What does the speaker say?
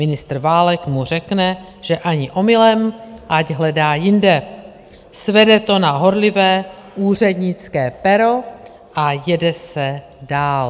Ministr Válek mu řekne, že ani omylem, ať hledá jinde, svede to na horlivé úřednické pero a jede se dál.